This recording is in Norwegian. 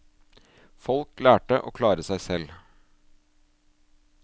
Folk lærte å klare seg selv.